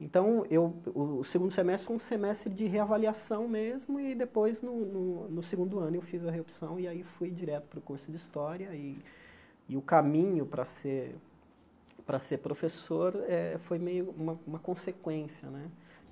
Então, eu eh o segundo semestre foi um semestre de reavaliação mesmo, e depois, no no no segundo ano, eu fiz a reopção, e aí fui direto para o curso de História, e e o caminho para ser para ser professor eh foi meio uma uma consequência né.